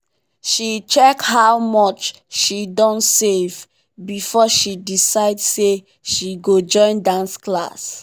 she check how much she don save before she decide say she go join dance class.